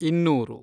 ಇನ್ನೂರು